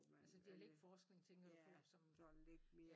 Altså dialektforskning tænker du på?